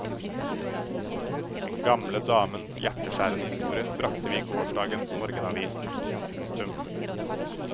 Den gamle damens hjerteskjærende historie bragte vi i gårsdagens morgenavis. punktum